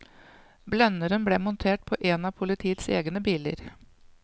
Blenderen ble montert på en av politiets egne biler.